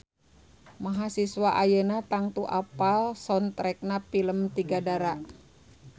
Mahasiswa ayeuna tangtu apal soundtrackna pilem Tiga Dara